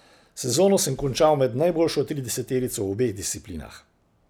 Sezono sem končal med najboljšo trideseterico v obeh disciplinah.